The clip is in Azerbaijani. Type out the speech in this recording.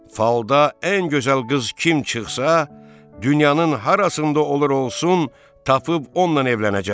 Falda ən gözəl qız kim çıxsa, dünyanın harasında olur olsun, tapıb onunla evlənəcəm.